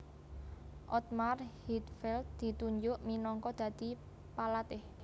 Ottmar Hitzfeld ditunjuk minangka dadi palatih